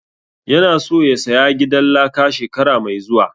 Ya na so ya saya gidan laka shekara mai zuwa